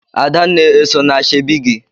Adanna eso na ashebi gị?